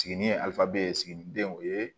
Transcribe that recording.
Sigini ye alife ye siginidenw o ye